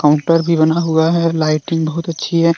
उन्टर भी बना हुआ है। लाइटिंग बहुत अच्छी है।